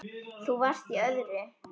Þú varst í öðru.